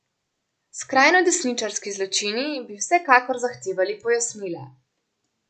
Skrajnodesničarski zločini bi vsekakor zahtevali pojasnila.